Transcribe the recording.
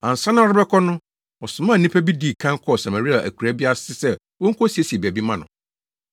Ansa na ɔrebɛkɔ no, ɔsomaa nnipa bi dii kan kɔɔ Samaria akuraa bi ase sɛ wonkosiesie baabi mma no.